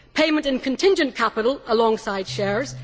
payment in contingent capital alongside shares